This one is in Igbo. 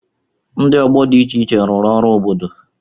Ndị ọgbọ dị iche iche rụrụ ọrụ obodo.